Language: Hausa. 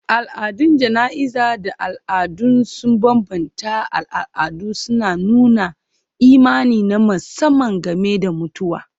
Al'adun jana'izar da al'adu sun bambanta a al'adu, suna nuna imani na musamman game da mutuwa.